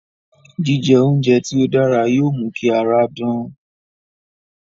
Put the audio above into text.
Jíjẹ oúnjẹ tí ó dára yóò mú kí ara dán